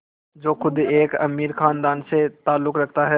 जो ख़ुद एक अमीर ख़ानदान से ताल्लुक़ रखता था